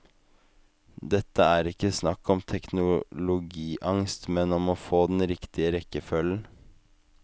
Dette er ikke snakk om teknologiangst, men om å få den riktige rekkefølgen.